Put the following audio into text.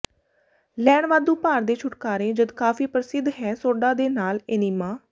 ਲੈਣ ਵਾਧੂ ਭਾਰ ਦੇ ਛੁਟਕਾਰੇ ਜਦ ਕਾਫ਼ੀ ਪ੍ਰਸਿੱਧ ਹੈ ਸੋਡਾ ਦੇ ਨਾਲ ਏਨੀਮਾ